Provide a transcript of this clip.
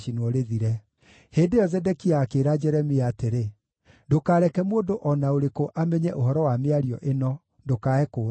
Hĩndĩ ĩyo Zedekia akĩĩra Jeremia atĩrĩ, “Ndũkareke mũndũ o na ũrĩkũ amenye ũhoro wa mĩario ĩno, ndũkae kũũragwo.